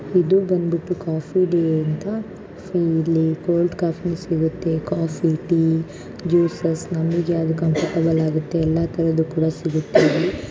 ಇದು ಬಂದ್ಬಿಟ್ಟು ಕಾಫೀ ಡೇ ಅಂತ ಸೊ ಇಲ್ಲಿ ಕೋಲ್ಡ್ ಕಾಫೀ ಸಿಗತ್ತೆ ಕಾಫೀ ಟೀ ಜ್ಯೂಸೆಸ್ ನಮಿಗ್ ಯಾವ್ದು ಕಂಫರ್ಟಬಲ್ ಆಗತ್ತೆ ಎಲ್ಲಾ ತರದ್ದು ಕೂಡ ಸಿಗತ್ತೆ ಇಲ್ಲಿ.